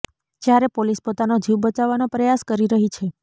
જ્યારે પોલીસ પોતાનો જીવ બચાવવાનો પ્રયાસ કરી રહી છે